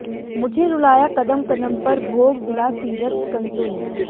मुझे रुलाया कदम कदम पर भोग विलासीरत कंसो ने